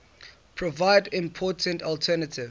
provide important alternative